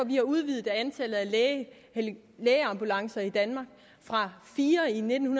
vi har udvidet antallet af lægeambulancer i danmark fra fire i nitten